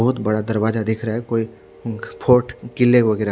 बोहोत बड़ा दरवाजा दिख रहा है कोई फोर्ट किले वगेरह--